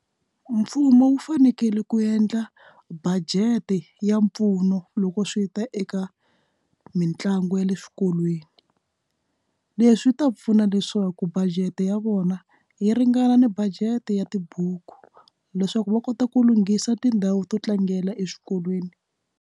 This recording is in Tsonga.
Mfumo wu fanekele ku endla budget ya mpfuno loko swi ta eka mitlangu ya le swikolweni leswi ta pfuna leswaku budget ya vona yi ringana ni budget ya tibuku leswaku va kota ku lunghisa tindhawu to tlangela eswikolweni.